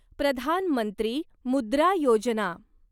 Pradhan Mantri Mudra Yojana